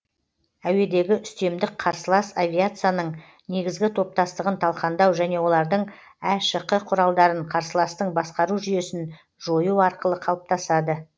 әуедегі үстемдік қарсылас авиациясының негізгі топтастығын талқандау және олардың әшқ құралдарын қарсыластың басқару жүйесін жою арқылы қалыптасады